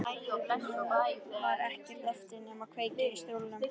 Nú var ekkert eftir nema að kveikja í stólnum.